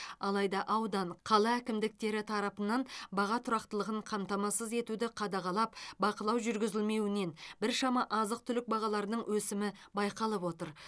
алайда аудан қала әкімдіктері тарапынан баға тұрақтылығын қамтамасыз етуді қадағалап бақылау жүргізілмеуінен біршама азық түлік бағаларының өсімі байқалып отыр